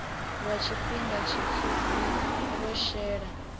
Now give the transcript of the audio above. lwa tshifhinga tshipfufhi vho shela